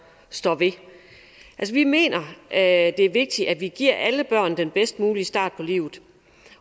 står ved vi mener at det er vigtigt at vi giver alle børn den bedst mulige start på livet